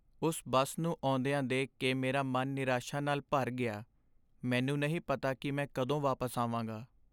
ਉਸ ਬੱਸ ਨੂੰ ਆਉਂਦਿਆਂ ਦੇਖ ਕੇ ਮੇਰਾ ਮਨ ਨਿਰਾਸ਼ਾ ਨਾਲ ਭਰ ਗਿਆ। ਮੈਨੂੰ ਨਹੀਂ ਪਤਾ ਕਿ ਮੈਂ ਕਦੋਂ ਵਾਪਸ ਆਵਾਂਗਾ।